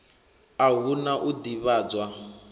a hu na u ḓivhadzwa